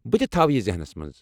بہٕ تہِ تھاوٕ یہ ذہنس منٛز۔